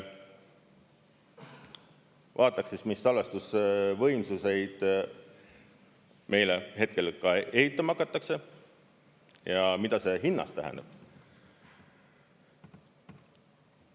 Vaataks, mis salvestusvõimsuseid meile hetkel ka ehitama hakatakse ja mida see hinnas tähendab.